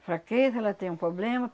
Fraqueza, ela tem um poblema.